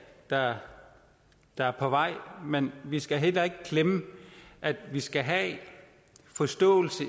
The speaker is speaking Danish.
der er der er på vej men vi skal heller ikke glemme at vi skal have forståelse